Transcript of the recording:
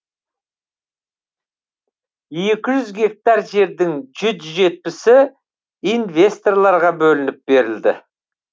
екі жүз гектар жердің жүз жетпісі инвесторларға бөлініп берілді